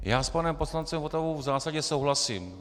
Já s panem poslancem Votavou v zásadě souhlasím.